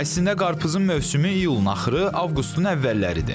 Əslində qarpızın mövsümü iyulun axırı, avqustun əvvəlləridir.